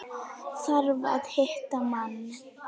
Þarf að hitta mann.